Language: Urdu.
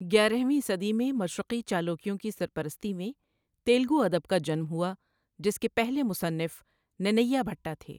گیارہویں صدی میں، مشرقی چالوکیوں کی سرپرستی میں تیلگو ادب کا جنم ہوا جس کے پہلے مصنف ننّیا بھٹہ تھے۔